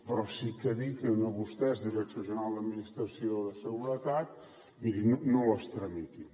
però sí que els dic a vostès direcció general d’administració de seguretat mirin no les tramitin